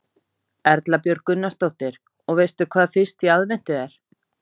Erla Björg Gunnarsdóttir: Og veistu hvað fyrsti í aðventu er?